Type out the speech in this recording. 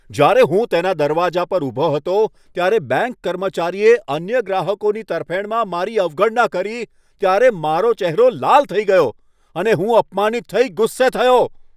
જ્યારે હું તેના દરવાજા પર ઊભો હતો ત્યારે બેંક કર્મચારીએ અન્ય ગ્રાહકોની તરફેણમાં મારી અવગણના કરી ત્યારે મારો ચહેરો લાલ થઈ ગયો અને હું અપમાનિત થઇ ગુસ્સે થયો.